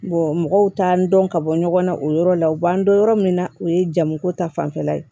mɔgɔw t'an dɔn ka bɔ ɲɔgɔn na o yɔrɔ la u b'an dɔn yɔrɔ min na o ye jamuko ta fanfɛla ye